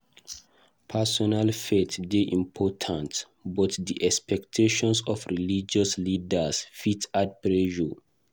Personal faith dey important, but di expectation of religious leaders fit add pressure.